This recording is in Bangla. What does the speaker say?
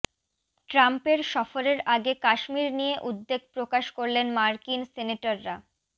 ট্রাম্পের সফরের আগে কাশ্মীর নিয়ে উদ্বেগ প্রকাশ করলেন মার্কিন সেনেটররা